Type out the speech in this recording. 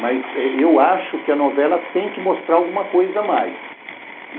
Mas eu acho que a novela tem que mostrar alguma coisa a mais.